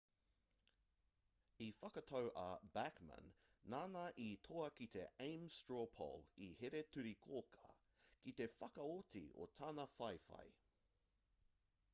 i whakatau a bachmana nāna i toa ki te ames straw poll i here-turi-kōkā ki te whakaoti i tana whawhai